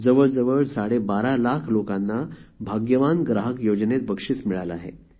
जवळजवळ साडेबारा लाख लोकांना भाग्यवान ग्राहक योजनेत बक्षीस मिळाले आहे